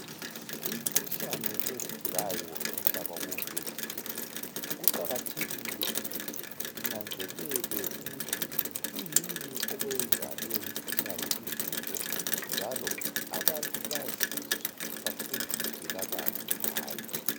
Imikhuhlane evukayo umhlaba wonke jikelele kuqakathekile ukuthi inanzelelwe ukuthi kuyini okwenza leyo mkhuhlane ivuke njalo abantu baziswe bafundiswe kabanzi ngayo.